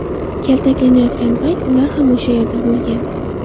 kaltaklanayotgan payt ular ham o‘sha yerda bo‘lgan.